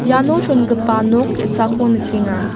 iano chongipa nok ge·sako nikenga.